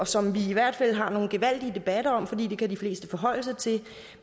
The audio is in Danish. som vi i hvert fald har nogle gevaldige debatter om fordi det kan de fleste forholde sig til